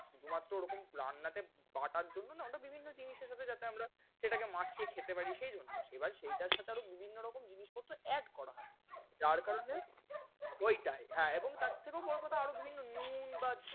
শুধু মাত্র ওরকম রান্নাতে বাটার জন্য না আমাদের বিভিন্ন জিনিসের সাথে যাতে আমরা সেটাকে মাখিয়ে খেতে পারি সেইজন্য। এবার সেইটার সাথে আরও বিভিন্ন রকম জিনিসপত্র add করা হয়। যার কারণে, ওইটায় এবং তার থেকেও বড় কথা আরও বিভিন্ন নুন বা,